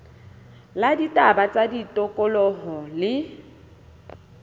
la ditaba tsa tikoloho le